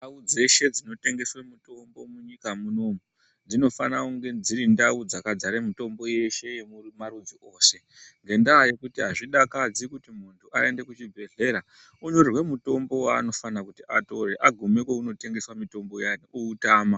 Ndau dzeshe dzinotengeswe mitombo munyika munomu dzinofana kunge dziri ndau dzakadzare mitombo yeshe yemarudzi ose ngendaa yekuti azvidakadzi kuti aende kuchibhedhera onyorerwe mutombo wanofana kuti atore agume kwaunotengeswa mutombo uya outama.